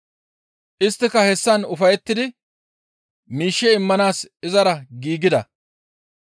Isttika hessan ufayettidi miishshe immanaas izara giigida.